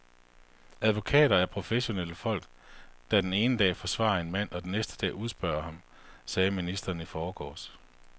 Advokater er professionelle folk, der den ene dag forsvarer en mand og den næste dag udspørger ham, sagde ministeren i forgårs.